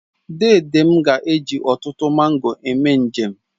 Dede m ga-eji ọtụtụ mango eme njem